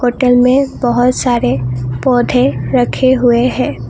Hotel में बहोत सारे पौधे रखे हुए हैं।